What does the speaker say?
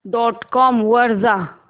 dot com वर जा